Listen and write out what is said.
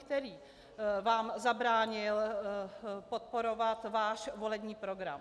Který vám zabránil podporovat váš volební program?